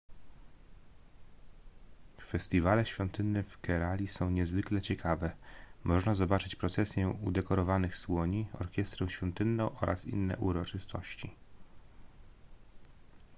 festiwale świątynne w kerali są niezwykle ciekawe można zobaczyć procesję udekorowanych słoni orkiestrę świątynną oraz inne uroczystości